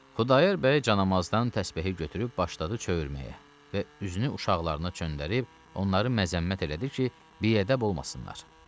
Xudayar bəy canamazdan təsbehi götürüb başladı çövürməyə və üzünü uşaqlarına çönndərib onları məzəmmət elədi ki, biədəb olmasınlar.